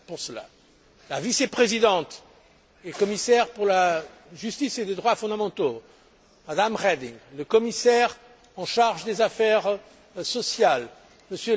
La vice présidente et commissaire pour la justice et les droits fondamentaux, Mme Reding, le commissaire en charge des affaires sociales, M.